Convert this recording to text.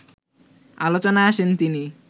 আলোচনায় আসেন তিনি